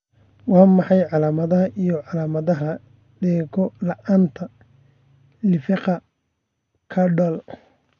Waa maxay calaamadaha iyo calaamadaha dhego la'aanta lifaaqa Caudal?